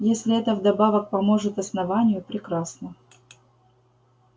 если это вдобавок поможет основанию прекрасно